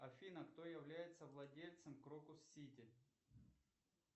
афина кто является владельцем крокус сити